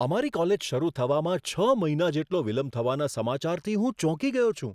અમારી કોલેજ શરુ થવામાં છ મહિના જેટલો વિલંબ થવાના સમાચારથી હું ચોંકી ગયો છું.